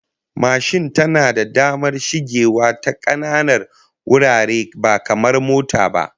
Mashin tana da damar shigewa ta kananan wurare ba kamar mota ba